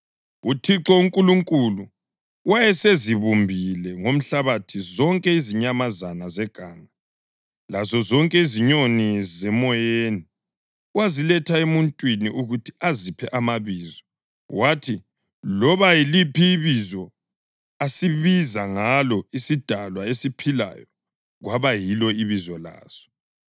UThixo uNkulunkulu wayesezibumbile ngomhlabathi zonke izinyamazana zeganga lazozonke izinyoni zemoyeni. Waziletha emuntwini ukuthi aziphe amabizo; kwathi loba yiliphi ibizo asibiza ngalo isidalwa esiphilayo, kwaba yilo ibizo laso.